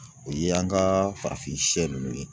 O ye an ka farafin siyɛn ninnu ye.